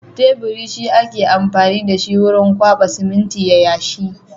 Teburi shi ake amfani da shi wurin kwaɓa siminti ya yashi.